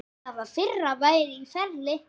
Það fyrra væri í ferli.